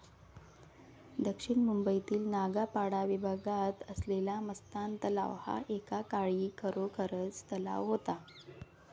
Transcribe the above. दक्षिण मुंबईतील नागपाडा विभागात असलेला मस्तान तलाव हा एकेकाळी खरोखरच तलाव होता.